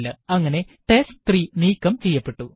അങ്ങനെ ടെസ്റ്റ്3 നീക്കം ചെയ്യപ്പെട്ടു